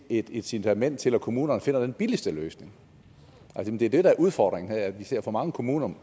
et incitament til at kommunerne finder den billigste løsning det er det der er udfordringen her nemlig at vi ser for mange kommuner